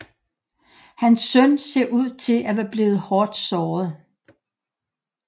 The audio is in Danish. Hans søn ser ud til at være blevet hårdt såret